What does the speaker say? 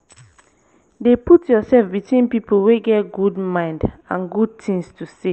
dey put urself between pipo wey get gud mind and gud tins to say